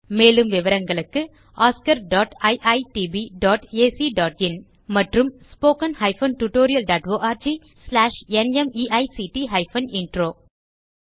மேலும் விவரங்களுக்கு oscariitbacஇன் மற்றும் spoken tutorialorgnmeict இன்ட்ரோ